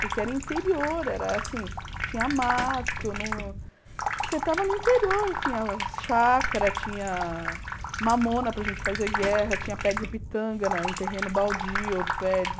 Porque era interior, era assim, tinha mato, no você estava no interior, tinha chácara, tinha mamona para a gente fazer guerra, tinha pé de pitanga na em terreno baldio, pé de...